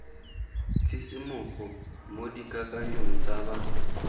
tshisimogo mo dikakanyong tsa ba